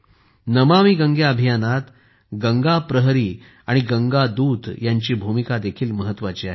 नमामि गंगे अभियानात गंगा प्रहरी आणि गंगा दूत यांची भूमिका देखील महत्वाची आहे